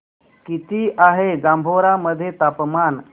किती आहे जांभोरा मध्ये तापमान